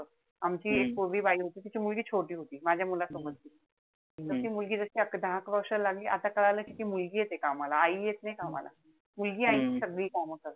आमची एक पूर्वी बाई होती, तिची मुलगी छोटी होती. माझ्या मुलासोबत. त ती मुलगी जशी दहा-अकरा वर्षाला लागली. आता कळालं कि ती मुलगी येते कामाला. आई येत नाई कामाला. मुलगी आईची सगळी कामं करते.